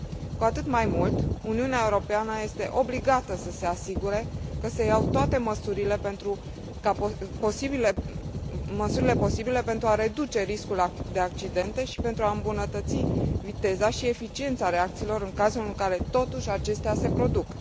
Cu atât mai mult, Uniunea Europeană este obligată să se asigure că se iau toate măsurile posibile pentru a reduce riscul de accidente și pentru a îmbunătăți viteza și eficiența reacțiilor în cazul în care, totuși, acestea se produc.